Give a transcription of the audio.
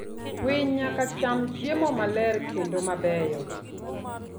Winy nyaka cham chiemo maler kendo mabeyo.